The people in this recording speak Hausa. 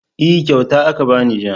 E, kyauta aka ba ni jiya.